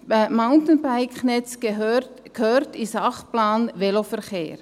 Das Mountainbike-Netz gehört in den Sachplan Veloverkehr.